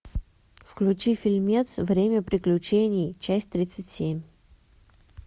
включи фильмец время приключений часть тридцать семь